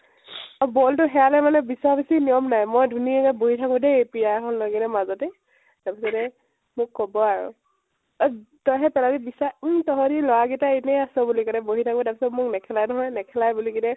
আৰু ball তো হেৰালে মানে বিচৰা বিচৰি নিয়ম নাই, মই ধুণীয়া কে বহি থাকো দেই পিয়া এখন লৈ মাজতে, তাৰপিছতে মোক কব আৰু, এ তৈ হে পেলালি বিচাৰ । উম তহঁতি লʼৰা কেইতাই এনেই আছ বুলি বহি থাকো । তাৰপিছত মোক নেখেলাই নহয় । নেখেলাই বুলি কেনে